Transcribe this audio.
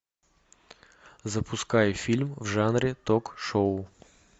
запускай фильм в жанре ток шоу